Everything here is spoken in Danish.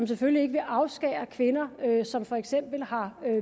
selvfølgelig ikke afskære kvinder som for eksempel har